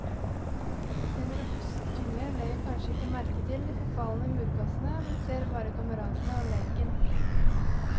En robust unge legger kanskje ikke merke til de forfalne murkassene, men ser bare kameratene og leken.